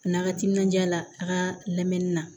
A n'a ka timinanja la a ka lamɛnni na